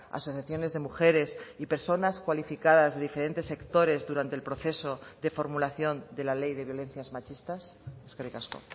asociaciones de mujeres y personas cualificadas de diferentes sectores durante el proceso de formulación de la ley de violencias machistas eskerrik asko